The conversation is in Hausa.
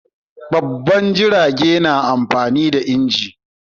Babban jirage na amfani da inji